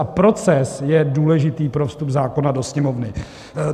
A proces je důležitý pro vstup zákona do Sněmovny.